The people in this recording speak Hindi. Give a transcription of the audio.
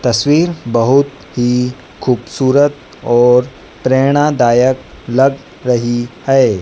तस्वीर बहुत ही खूबसूरत और प्रेरणादायक लग रही है।